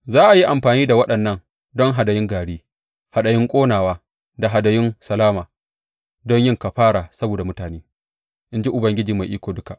Za a yi amfani da waɗannan don hadayun gari, hadayun ƙonawa da hadayun salama don yin kafara saboda mutane, in ji Ubangiji Mai Iko Duka.